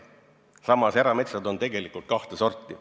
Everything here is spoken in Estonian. Samas, erametsasid on tegelikult kahte sorti.